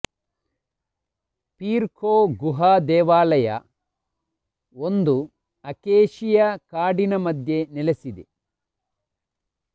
peer Kho ಗುಹಾ ದೇವಾಲಯ ಒಂದು ಅಕೇಶಿಯ ಕಾಡಿನ ಮಧ್ಯೆ ನೆಲೆಸಿದೆ